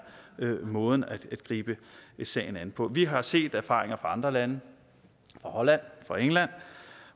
måden at gribe sagen an på vi har set erfaringer fra andre lande fra holland og england